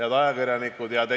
Head ajakirjanikud!